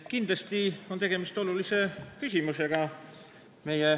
Kindlasti on tegemist olulise küsimusega.